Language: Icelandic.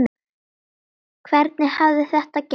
Hvernig hafði þetta gerst?